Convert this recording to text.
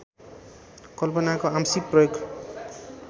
कल्पनाको आंशिक प्रयोग